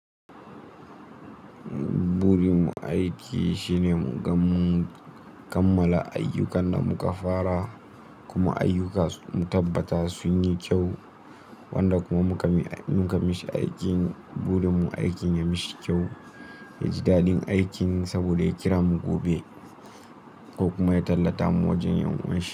Buri mu aiki shine muga mun kammala ayyukan da muka fara kuma ayyuka mu tabbata sun yi kyau wanda kuma muka mishi aikin buri mun aikin ya mishi kyau. Ya ji daɗin aikin saboda ya kira mu gobe ko kuma ya tallata mu wajen yan uwanshi.